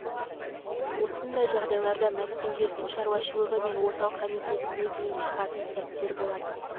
осындай жағдайларда мәскеуге су шаруашылығы мен орталық комитетіне дейін шығатын сәттер болатын